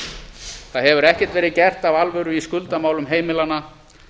það hefur ekkert verið gert af alvöru í skuldamálum heimilanna